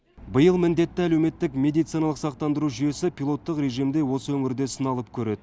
биыл міндетті әлеуметтік медициналық сақтандыру жүйесі пилоттық режимде осы өңірде сыналып көреді